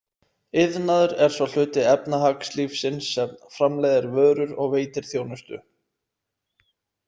Iðnaður er sá hluti efnahagslífsins sem framleiðir vörur og veitir þjónustu.